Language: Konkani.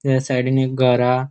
त्या सायडीन एक घर हा.